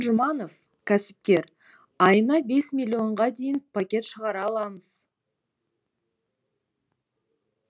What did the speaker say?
жұманов кәсіпкер айына бес миллионға дейін пакет шығара аламыз